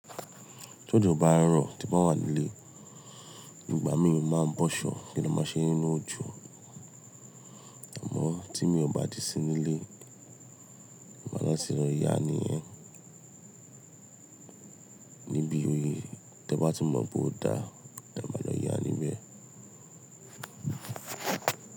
Tí òjò bá rọ̀ tí n baa wà nílé, ígbà míì mo máa ń bọ́ ṣọ̀ kí n dẹ máa ṣere nínú òjò. Àmọ́ tí mi ò bá di sí nílé, màá lọ síra ìyá ni ẹ́ níbi oyè. Tí ẹ bá tún mọ̀ bóo dá, ẹ máa lọ yá níbẹ̀.